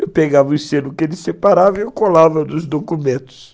Eu pegava o selo que ele separava e eu colava nos documentos.